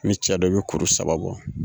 Ni cɛ do i bi kuru saba bɔ.